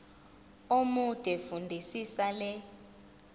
omude fundisisa le